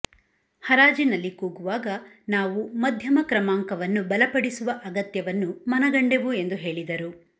ಹರಾಜಿನಲ್ಲಿ ಕೂಗುವಾಗ ನಾವು ಮಧ್ಯಮಕ್ರಮಾಂಕವನ್ನು ಬಲಪಡಿಸುವ ಅಗತ್ಯವನ್ನು ಮನಗಂಡೆವು ಎಂದು ಹೇಳಿದರು